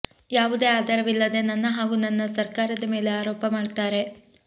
ಯಾವುದೇ ಆಧಾರವಿದಲ್ಲದೆ ನನ್ನ ಹಾಗೂ ನನ್ನ ಸರ್ಕಾರದ ಮೇಲೆ ಆರೋಪ ಮಾಡ್ತಾರೆ